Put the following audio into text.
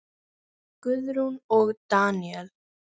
Guðrún og Daníel.